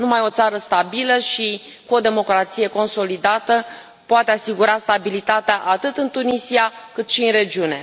Numai o țară stabilă și cu o democrație consolidată poate asigura stabilitatea, atât în Tunisia, cât și în regiune.